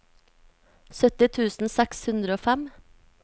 sytti tusen seks hundre og fem